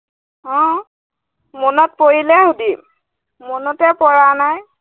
আহ মনত পৰিলে সুধিম, মনতেই পৰা নাই।